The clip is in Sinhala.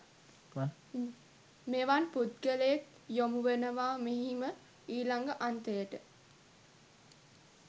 මෙවන් පුද්ගලයෙක් යොමු වනවා මෙහිම ඊළඟ අන්තයට.